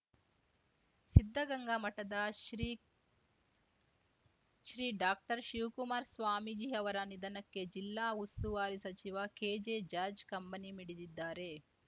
ಸಿದ್ಧಗಂಗಾ ಮಠದ ಶ್ರೀಶ್ರೀ ಡಾಕ್ಟರ್ಶಿವಕುಮಾರ ಸ್ವಾಮೀಜಿ ಅವರ ನಿಧನಕ್ಕೆ ಜಿಲ್ಲಾ ಉಸ್ತುವಾರಿ ಸಚಿವ ಕೆಜೆ ಜಾರ್ಜ್ ಕಂಬನಿ ಮಿಡಿದಿದ್ದಾರೆ